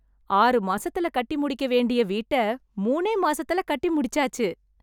ஆறு மாசத்துல கட்டி முடிக்க வேண்டிய வீட்ட மூணே மாசத்துல கட்டி முடிச்சாச்சு